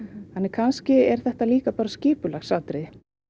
kannski er þetta skipulagsatriði